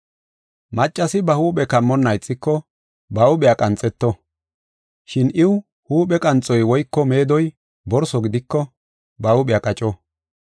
Maccasi ba huuphe kammonna ixiko, ba huuphiya qanxeto. Shin iw huuphe qanxoy woyko meedoy borso gidiko, ba huuphiya qaco.